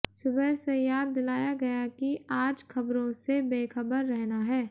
सुबह से याद दिलाया गया कि आज खबरों से बेखबर रहना है